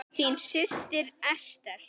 Þín systir, Ester.